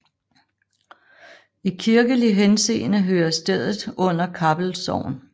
I kirkelig henseende hører stedet under Kappel Sogn